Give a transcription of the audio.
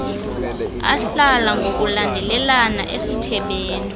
ahlala ngokulandelana esithebeni